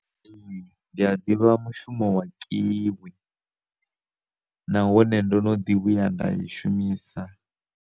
Ndi a ḓivha mushumo wa kiwi, nahone ndono ḓi vhuya nda i shumisa.